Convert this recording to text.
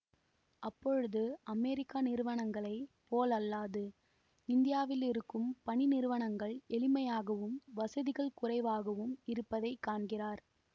அப்பொழுது அமெரிக்க நிறுவனங்களை போலல்லாது இந்தியாவிலிருக்கும் பணி நிறுவனங்கள் எளிமையாகவும் வசதிகள் குறைவாகவும் இருப்பதை காண்கிறார்